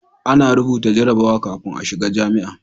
A na rubuta jarrabawa kafin a shiga jami'a